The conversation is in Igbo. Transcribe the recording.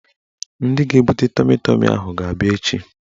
Ndị ga-ebute tọmi tọmi ahụ ga-abịa echi